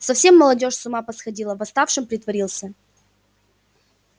совсем молодёжь с ума посходила восставшим притворился